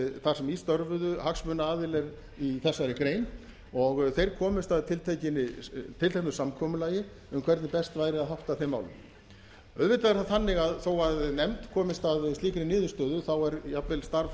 þar sem í störfuðu hagsmunaaðilar í þessari grein og þeir komust að tilteknu samkomulagi um hvernig best væri að hátta þeim málum auðvitað er það þannig að þó að nefnd komist að slíkri niðurstöðu þá er jafnvel starf